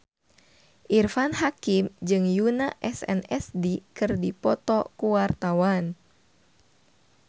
Irfan Hakim jeung Yoona SNSD keur dipoto ku wartawan